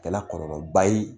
Kɛla kɔlɔlɔ ba ye